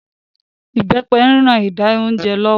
Ibepe ń rán ìdá oúnjẹ lọ́wọ́